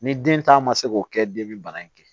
Ni den ta ma se k'o kɛ den bi bana in kɛ